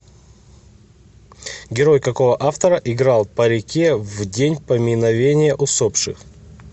герой какого автора играл по реке в день поминовения усопших